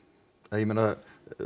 ég meina